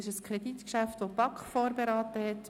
Dieses Kreditgeschäft ist von der BaK vorberaten worden.